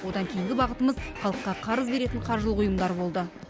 одан кейінгі бағытымыз халыққа қарыз беретін қаржылық ұйымдар болды